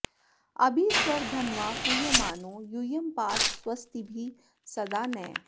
अभि स्वर धन्वा पूयमानो यूयं पात स्वस्तिभिः सदा नः